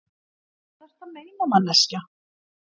Hvað ertu að meina, manneskja?